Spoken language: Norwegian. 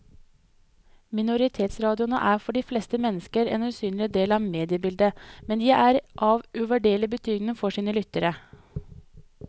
Minoritetsradioene er for de fleste mennesker en usynlig del av mediebildet, men de er av uvurderlig betydning for sine lyttere.